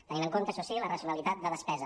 tenint en compte això sí la racionalitat de despesa